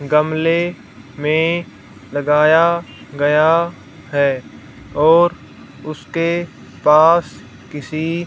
गमले में लगाया गया हैं और उसके पास किसी--